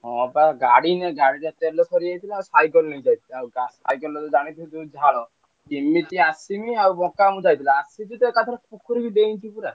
ହଁ ବା ଗାଡି ନୁହେଁ ଗାଡ଼ିର ତେଲ ସରିଯାଇଥିଲା ଆଉ cycle ନେଇ ଯାଇଥିଲି। ଆଉ cycle ରେ ଜାଣିଥିବ ଯୋଉ ଝାଳ କେମିତି ଆସିବି ଆଉ ବଙ୍କା ମୁଁ ଯାଇଥିଲୁ ଆସିକି ତ ଏକାଥରେ ଖଟ ଉପରକୁ ଡେଇଁଛି ପୁରା।